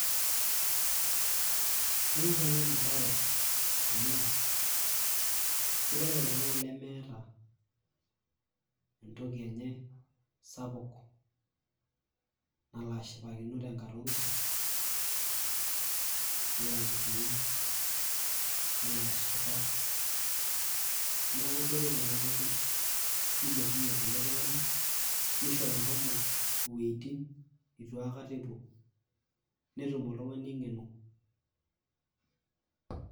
kanyor nanu ena bae amu keret oltungani lemeeta entoki enye sapuk nala ashipakino te nkata orusa. nelo aitiringa ,nelo ashipa niaku keret ena toki nilepunyie irkulie tunganak nisho meshomo iwuetin neitu aikata epuo , netum oltungani engeno .